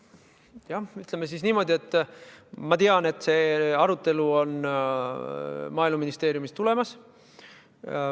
Jah, ütleme siis niimoodi, et ma tean, et see arutelu on Maaeluministeeriumis tulemas.